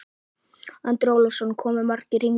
Andri Ólafsson: Komu margir hingað?